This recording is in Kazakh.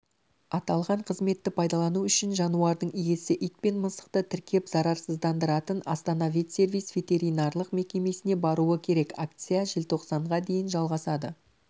аталған қызметті пайдалану үшін жануардың иесі ит пен мысықты тіркеп зарарсыздандыратын астана ветсервис ветиринарлық мекемесіне баруы керек акция желтоқсанға дейін жалғасады